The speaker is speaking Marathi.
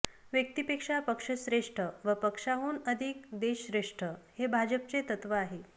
व्यक्तीपेक्षा पक्ष श्रेष्ठ व पक्षाहून अधिक देश श्रेष्ठ हे भाजपचे तत्त्व आहे